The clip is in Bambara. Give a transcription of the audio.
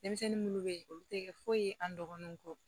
Denmisɛnnin munnu bɛ ye olu tɛ kɛ foyi ye an dɔgɔninw kɔ